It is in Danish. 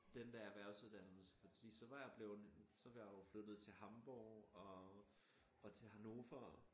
Den der erhversuddannelse fordi så var jeg bleven så var jeg flyttet til Hamborg og til Hannover